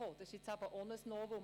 Auch das ist also ein Novum.